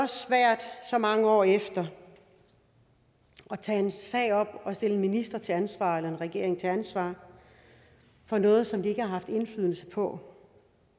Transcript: svært så mange år efter at tage en sag op og stille en minister til ansvar eller en regering til ansvar for noget som de ikke har haft indflydelse på